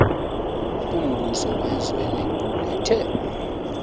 kumbuso wezwe liqulethe